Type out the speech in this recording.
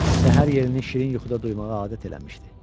Səhər yelini şirin yuxuda duymağa adət eləmişdi.